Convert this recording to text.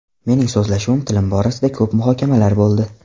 Mening so‘zlashuv tilim borasida ko‘p muhokamalar bo‘ldi.